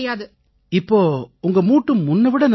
இப்ப உங்க மூட்டு முன்னை விட நல்லா ஆயிடுச்சா